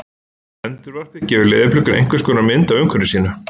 Endurvarpið gefur leðurblökunni einhvers konar mynd af umhverfi sínu.